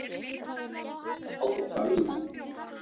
Hálka víða